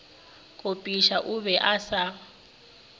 kopiša o be a sa